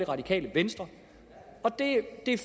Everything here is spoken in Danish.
radikale venstre og det er